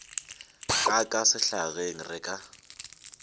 ka ka sehlageng re ka